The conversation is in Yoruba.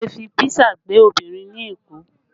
Wọn le fi písà gbé obìnrin ní Èkó